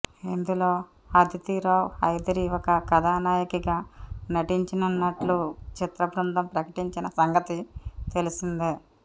ఇందులో అదితీరావ్ హైదరీ ఒక కథానాయికగా నటించనున్నట్లు చిత్రబృందం ప్రకటించిన సంగతి తెలిసిందే